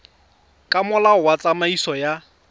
ka molao wa tsamaiso ya